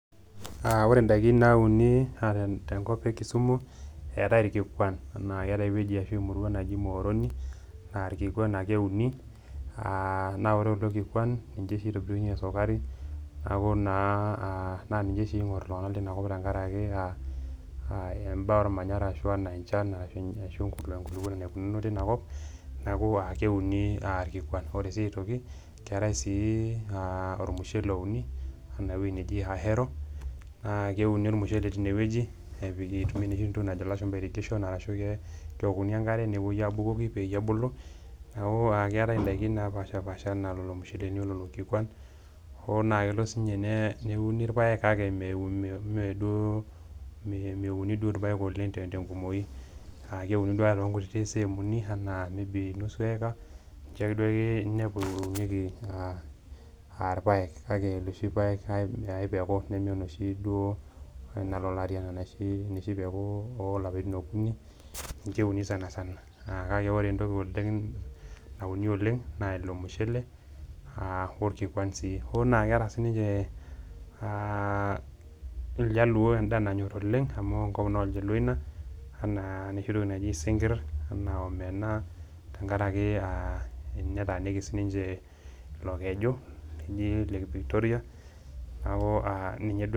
Aa ore ndaikin nauni te nkop e Kisumu eetai irkikuan naa eeta ewueji ashu emurua naji Muhoroni naa irkikuan ake euni naa ore kulo kikuan nje itobirunye esukari, neeku naa ninye oshi ing'or iltung'anak lina kop tenkaraki aa a imbaa ormanyara ashu enaa nee enchan ashu enkulukoni enaikununo tina kop, neeku aa keuni irkikuan. Ore sii aitoki keetai sii ormushele ouni ena wuei neji Ahero, naa keuni ormushele tine wueji nepiki entoki najo ilashumba irrigation arashu kewokuni enkare nepuoi abukoki peyie ebulu, neeku aake eetai ndaikin napaashipaasha ena lelo musheleni o lelo kikuan. Hoo naa elo siinye neuni irpaek kake me me duo meuni duo irpaek oleng' te te ng'umoi aake euni duo too nkuti seemuni enaa maybe nusu eeka nje duake ninepu eunieki aa aa irpaek, kake loshi paek ai peku nemenoshi duo nalo olari ena onoshi peku oo lapaitin okuni ninje euni sana sana naa kake ore entoki oleng' nauni oleng' naa ilo mushele aa orkikuan sii. Hoo naa ake eeta sininje aa iljaluo endaa nanyor oleng' amu enkop naa oljaluo ina enaa enoshi toki naji isinkir, enaa omena tenkaraki aa nye etaaniki sininje ilo keju oji lake Victoria neeku aa ninye duo..